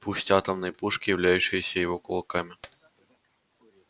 пусть атомные пушки являющиеся его кулаками